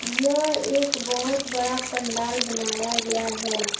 यह एक बहोत बड़ा पंडाल बनाया गया है।